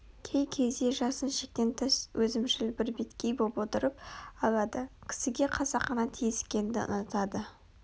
кей кезде жасын шектен тыс өзімшіл бірбеткей боп отырып алады кісіге қасақана тиіскеңді ұнатады